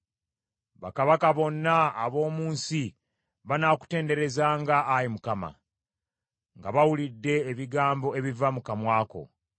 Bakabaka bonna ab’omu nsi banaakutenderezanga, Ayi Mukama , nga bawulidde ebigambo ebiva mu kamwa ko.